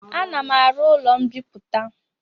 Ana m aru ụlọ mbiputa